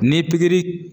Ni pikiri